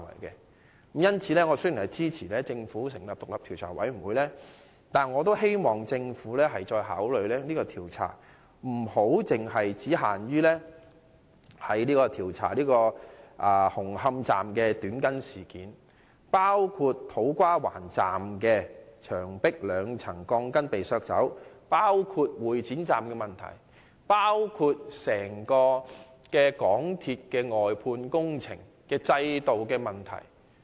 因此，雖然我支持政府成立調查委員會，但我也希望政府考慮擴大調查範圍，不單調查"紅磡站的短筋事件"，亦應調查土瓜灣站月台牆壁被削去兩層鋼筋的事件、會展站的問題，以及港鐵公司外判工程制度的問題。